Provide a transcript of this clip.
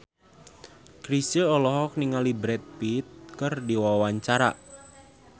Chrisye olohok ningali Brad Pitt keur diwawancara